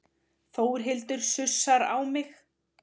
Þórhildur sussar á mig.